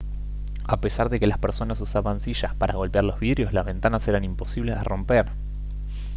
a pesar de que las personas usaban sillas para golpear los vidrios las ventanas eran imposibles de romper